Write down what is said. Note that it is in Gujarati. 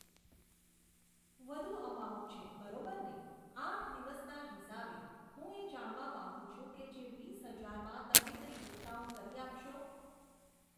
વધુ અમાઉન્ટ છે બરોબરને. આઠ દિવસના હિસાબે, હું એ જાણવા માગુ છું કે જે વીસ હજારમાં તમે કંઈ ડિસ્કાઉન્ટ કરી આપશો